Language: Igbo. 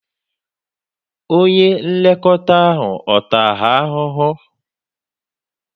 Onye nlekọta ahụ ọ̀ taa ha ahụhụ?